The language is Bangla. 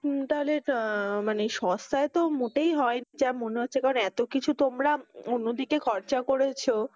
হম তাহলে আহ মানে সস্তায় তো মোটেই হয়, যা মনে হচ্ছে কারণ এত কিছু তোমরা অন্যদিকে খরচা করেছো